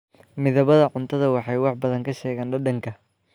Midabada cuntadu waxay wax badan ka sheegaan dhadhanka.